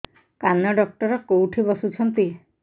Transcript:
କାନ ଡକ୍ଟର କୋଉଠି ବସୁଛନ୍ତି